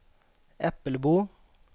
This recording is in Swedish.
Äppelbo